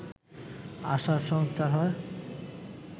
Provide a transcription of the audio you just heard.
আশার সঞ্চার হয়